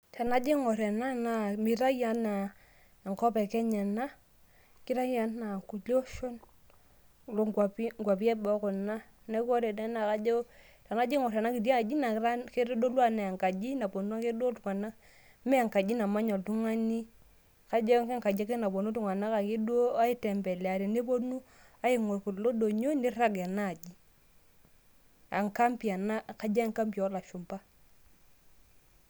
tenajo aingor ena mitayu ena anaa enkop e Kenya ena ,kitayu enaa irkulie oshon loo nkwapi eboo kuna . niaku ore ena naa kajo tenaijo aingor enakiti aji kitodolu anaa enkaji napuonu ake duo iltunganak . mme enkaji namanya oltungani ,kajo ake enkaji napuonu iltunganak aitembelea tenepuonu aingor kulo donyio nirag enaa aji. enkampi ena kajo enkampi oolashumba .